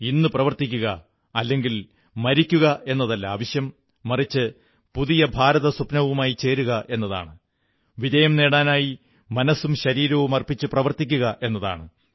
ഇന്ന് പ്രവർത്തിക്കുക അല്ലെങ്കിൽ മരിക്കുക എന്നതല്ല ആവശ്യം മറിച്ച് പുതിയ ഭാരതസ്വപ്നവുമായി ചേരുക എന്നതാണ് വിജയം നേടാനായി മനസ്സും ശരീരവുമർപ്പിച്ച് പ്രവർത്തിക്കുക എന്നതാണ്